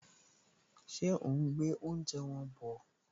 Ṣé òún gbé oúnjẹ wọn bọ̀?